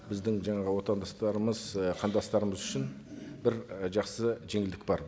біздің жаңағы отандастарымыз ы қандастарымыз үшін бір і жақсы жеңілдік бар